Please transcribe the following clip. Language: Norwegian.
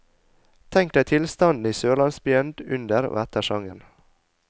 Tenk deg tilstanden i sørlandsbyen under og etter sangen.